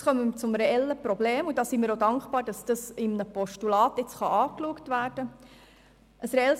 Nun kommen wir zu einem reellen Problem, und wir sind dankbar, dass dieses dank einem Postulat angeschaut werden kann.